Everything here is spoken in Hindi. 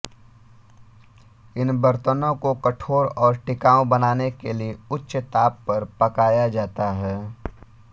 इन बर्तनों को कठोर और टिकाऊ बनाने के लिए उच्च ताप पर पकाया जाता है